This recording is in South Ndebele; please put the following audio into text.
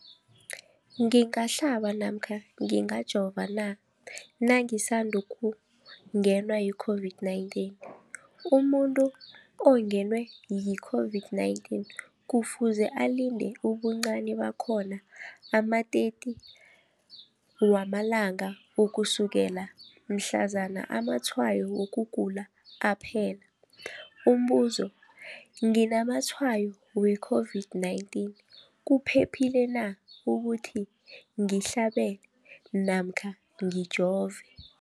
ngingahlaba namkha ngingajova na nangisandu kungenwa yi-COVID-19? Umuntu ongenwe yi-COVID-19 kufuze alinde ubuncani bakhona ama-30 wama langa ukusukela mhlazana amatshayo wokugula aphela. Umbuzo, nginamatshayo we-COVID-19, kuphephile na ukuthi ngihlabe namkha ngijove?